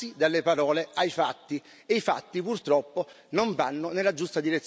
E i fatti, purtroppo, non vanno nella giusta direzione né per l'Italia né per l'Europa.